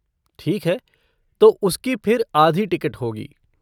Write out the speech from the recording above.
ठीक है, तो उसकी फिर आधी टिकट होगी।